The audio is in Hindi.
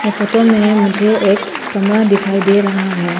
ये फोटो में मुझे एक कमरा दिखाई दे रहा है।